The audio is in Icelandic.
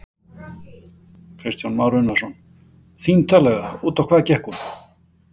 Kristján Már Unnarsson: Þín tillaga, út á hvað gekk hún?